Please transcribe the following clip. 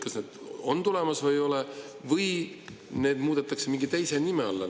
Kas need on tulemas või ei ole või need mingi teise nimega?